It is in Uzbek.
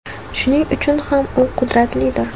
Shuning uchun ham u qudratlidir.